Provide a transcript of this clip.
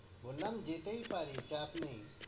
বললাম যেতেই পারি, চাপ নেই।